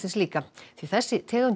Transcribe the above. líka því þessi tegund